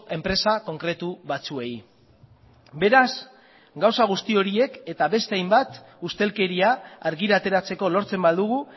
enpresa konkretu batzuei beraz gauza guzti horiek eta beste hainbat ustelkeria argira ateratzeko lortzen badugu